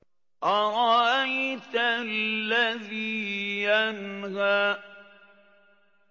أَرَأَيْتَ الَّذِي يَنْهَىٰ